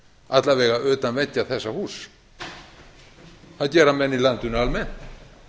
alla vega utan veggja þessa húss það gera menn í landinu almennt